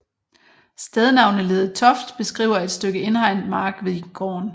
Stednavneledet toft beskriver et stykke indhegnet mark ved gården